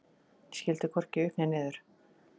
Ég skildi hvorki upp né niður.